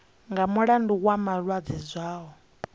nga mulandu wa malwadze zwao